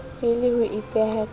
e le ho ipeha ka